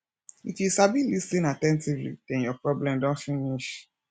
if you sabi lis ten at ten tively den your problem don finish